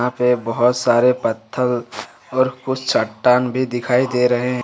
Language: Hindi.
यहां पे बहोत सारे पत्थर और कुछ चट्टान भी दिखाई दे रहे--